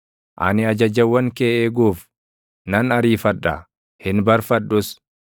Ani ajajawwan kee eeguuf, nan ariifadha; hin barfadhus.